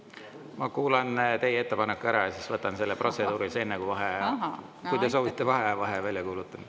Ma kuulan teie ettepaneku ära ja siis võtan selle protseduurilise, enne kui vaheaja – kui te soovite vaheaega – välja kuulutan.